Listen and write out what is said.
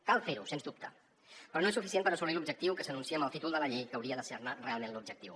cal fer ho sens dubte però no és suficient per assolir l’objectiu que s’anuncia amb el títol de la llei que hauria de ser ne realment l’objectiu